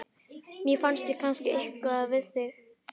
Mér finnst ég kannast eitthvað við þig?